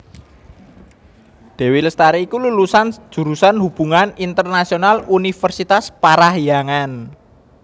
Dewi Lestari iku lulusan jurusan Hubungan Internasional Universitas Parahyangan